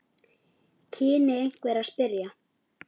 kynni einhver að spyrja.